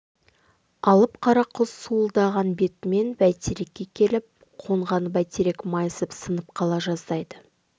алып қара құс суылдаған бетімен бәйтерекке келіп қонғанда бәйтерек майысып сынып қала жаздайды